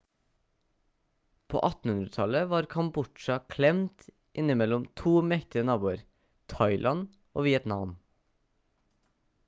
på 1800-tallet var kambodsja klemt innimellom 2 mektige naboer thailand og vietnam